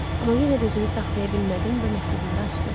Amma yenə də özümü saxlaya bilmədim və məktubları açdım.